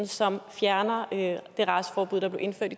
som fjerner det raceforbud der blev indført